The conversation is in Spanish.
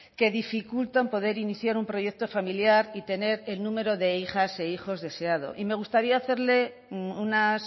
que dificultan poder iniciar un proyecto familiar y tener el número de hijas e hijos deseados me gustaría